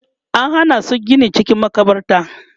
an Hana su Gini cikin makabarta